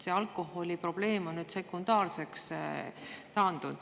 Alkoholiprobleem on nüüd sekundaarseks taandunud.